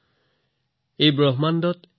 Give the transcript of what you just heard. যত কিঞ্চিত বস্তু তত সৰ্ব গণিতেন বিনা নহি